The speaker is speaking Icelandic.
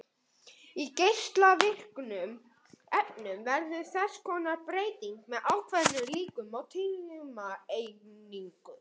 Í geislavirkum efnum verður þess konar breyting með ákveðnum líkum á tímaeiningu.